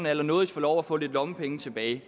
allernådigst få lov at få lidt lommepenge tilbage jeg